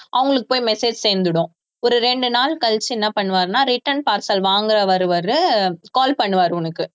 அவங்களுக்கு போய் message சேர்ந்திடும் ஒரு ரெண்டு நாள் கழிச்சு என்ன பண்ணுவாருன்னா return parcel வாங்க வருவாரு call பண்ணுவாரு உனக்கு